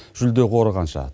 жүлде қоры қанша